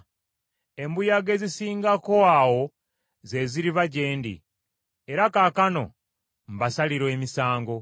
embuyaga ezisingako awo ze ziriva gye ndi. Era kaakano mbasalira emisango.”